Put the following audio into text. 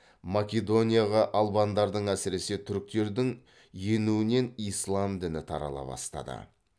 македонияға албандардың әсіресе түріктердің енуінен ислам діні тарала бастады